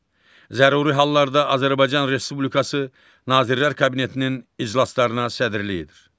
Zəruri hallarda Azərbaycan Respublikası Nazirlər Kabinetinin iclaslarına sədrlik edir.